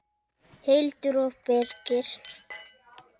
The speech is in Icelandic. Hildur og Birgir.